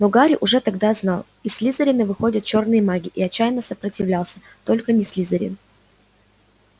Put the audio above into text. но гарри уже тогда знал из слизерина выходят чёрные маги и отчаянно сопротивлялся только не слизерин